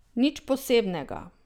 Nič posebnega.